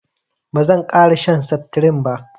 bazan kara shan septirin ba